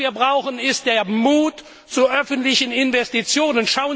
kürzen. Was wir brauchen, ist der Mut zu öffentlichen Investitionen.